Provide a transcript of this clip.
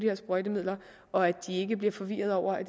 af sprøjtemidler og at de ikke bliver forvirrede over at